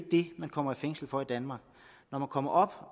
det man kommer i fængsel for i danmark når man kommer op